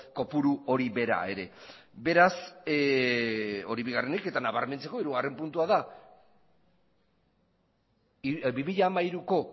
kopuru hori bera ere beraz hori bigarrenik eta nabarmentzeko hirugarren puntua da bi mila hamairuko